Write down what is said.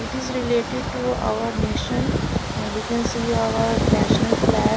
it is related to our nation we can see our national flag.